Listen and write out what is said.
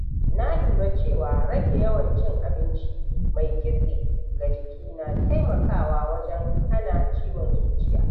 Na lura cewa rage yawan cin abinci mai kitse ga jiki na taimakawa wajen hana ciwon zuciya.